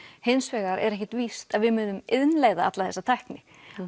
hins vegar er ekkert víst að við munum innleiða alla þessa tækni